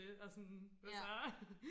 og sådan hvad så